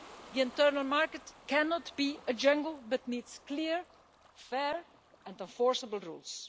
The internal market cannot be a jungle but needs clear, fair and enforceable rules.